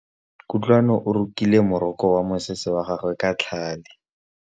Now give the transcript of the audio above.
Kutlwanô o rokile morokô wa mosese wa gagwe ka tlhale.